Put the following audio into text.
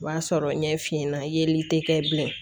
O b'a sɔrɔ ɲɛ f'i ɲɛna yeli tɛ kɛ bilen